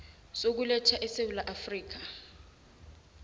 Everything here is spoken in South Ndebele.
sokuletha esewula afrika